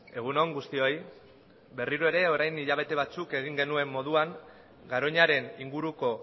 egun on guztioi berriro ere orain hilabete batzuk egin genuen moduan garoñaren inguruko